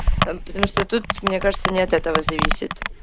потому что тут мне кажется не от этого зависит